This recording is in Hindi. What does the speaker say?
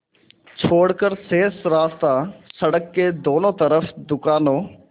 छोड़कर शेष रास्ता सड़क के दोनों तरफ़ दुकानों